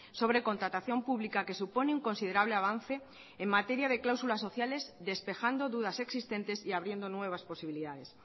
sobre contratación pública que supone un considerable avance en materia de cláusulas sociales despejando dudas existentes y abriendo nuevas posibilidades